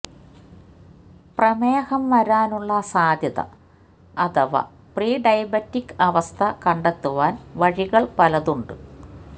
പ്രമേഹം വരാനുള്ള സാധ്യത അഥവാ പ്രീ ഡയബെറ്റിക് അവസ്ഥ കണ്ടെത്തുവാന് വഴികള് പലതുണ്ട്